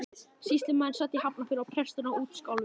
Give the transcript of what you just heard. Sýslumaðurinn sat í Hafnarfirði og presturinn á Útskálum.